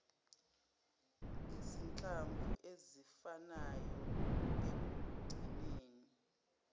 izinhlamvu ezifanayo ekugcineni